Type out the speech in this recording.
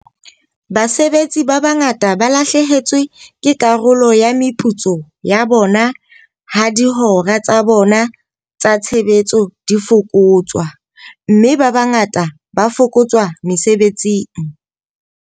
Basebetsi ba bangata ba lahlehetswe ke karolo ya meputso ya bona ha dihora tsa bona tsa tshebetso di fokotswa, mme ba bangata ba fokotswa mesebetsing.